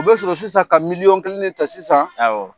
U bɛ sɔrɔ sisan ka miliyƆn kelen ta sisan